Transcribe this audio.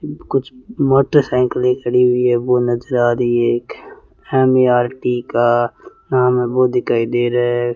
कुछ मोटरसाइकिल खड़ी हुई है वह नजर आ रही है एक यम_ए_आर_टी का नाम है वो दिखाई दे रहा है।